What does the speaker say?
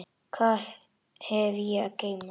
Hvað hef ég að geyma?